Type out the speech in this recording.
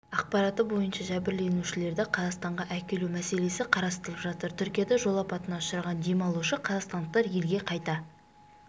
ақпараты бойынша жәбірленушілерді қазақстанға әкелу мәселесі қарастырылып жатыр түркияда жол апатына ұшыраған демалушы қазақстандықтар елге қайта